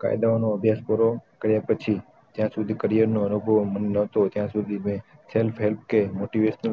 કાયદો ની અભ્યાસ પૂરો કર્યા પછી જ્યાં સુધી career નો અનુભવ મને નતો ત્યાં સુધી મેં self help કે motivational